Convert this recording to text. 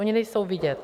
Oni nejsou vidět.